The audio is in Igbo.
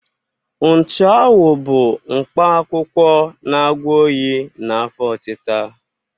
Nchụawụ bụ mkpa akwụkwọ na-agwọ oyi na afọ ọtịta.